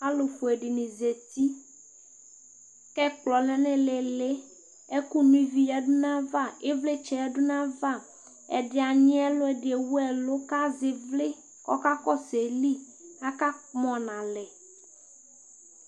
alofue dini zati k'ɛkplɔ lɛ n'ilili ɛkò no ivi yadu n'ava ivlitsɛ yadu n'ava ɛdi anyi ɛlu ɛdi ewu ɛlu k'azɛ ivli k'ɔka kɔsu ayili aka kpɔ n'alɛ